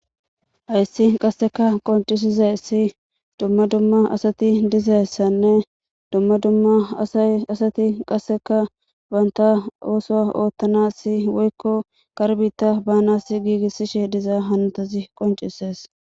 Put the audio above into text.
ayssi qasseka qoncisizayssi dumma dumma asati dizayssanne dumma dumma aaasati qasseka banta oso oottana si woykko karbita baanas giigissishe diza hantazi qoncisees